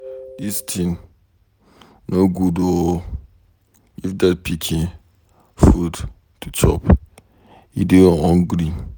Dis thing no good oo. Give dat pikin food to chop, he dey hungry.